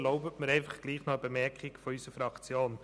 Erlauben Sie mir dennoch eine Bemerkung unserer Fraktion.